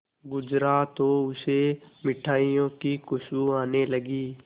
गुजरा तो उसे मिठाइयों की खुशबू आने लगी